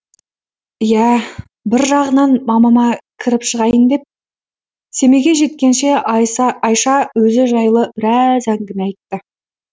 иә бір жағынан мамама кіріп шығайын деп семейге жеткенше айша өзі жайлы біраз әңгіме айтты